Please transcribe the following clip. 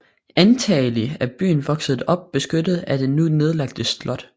Antagelig er byen vokset op beskyttet af det nu nedlagte slot